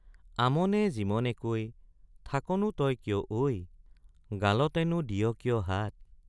আমনে জিমনেকৈ থাকনো তই কিয় ঐ গালতেনো দিয় কিয় হাত?